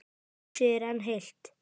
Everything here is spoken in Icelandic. Húsið enn heilt.